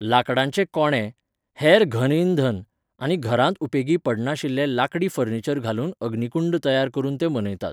लांकडाचे कोंडे, हेर घन इंधन आनी घरांत उपेगी पडनाशिल्लें लांकडी फर्निचर घालून अग्नीकुंड तयार करून तो मनयतात.